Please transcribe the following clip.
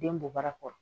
Den bɔ bara kɔrɔ